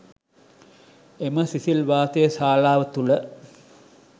එම සිසිල් වාතය ශාලාව තුළ